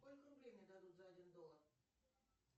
сколько рублей мне дадут за один доллар